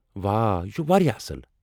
واہ، یہِ چُھ واریاہ اصل۔